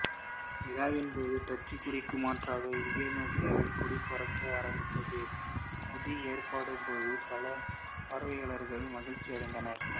விழாவின் போது டச்சு கொடிக்கு மாற்றாக இந்தோனேசியாவின் கொடி பறக்க ஆரம்பித்தது கொடி ஏற்றப்பட்டபோது பல பார்வையாளர்கள் மகிழ்ச்சியடைந்தனர்